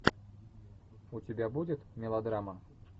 у тебя будет мелодрама